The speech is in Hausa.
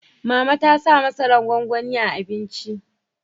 Mama ta sa masaran gwanwani a abinci